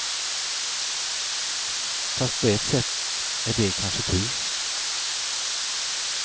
Fast på ett sätt är det kanske tur.